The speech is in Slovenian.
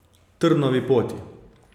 Trnovi poti.